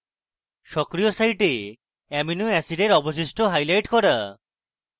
সক্রিয় site amino অ্যাসিডের অবশিষ্ট highlight করা